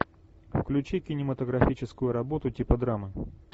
включи кинематографическую работу типа драмы